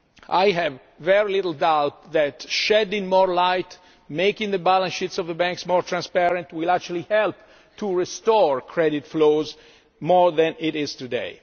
AQR. I have very little doubt that shedding more light and making the balance sheets of the banks more transparent will actually help to restore credit flows to greater levels than today.